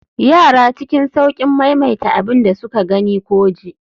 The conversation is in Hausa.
yara cikin sauƙin maimaita abin da suka gani ko ji